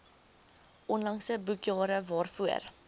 onlangse boekjare waarvoor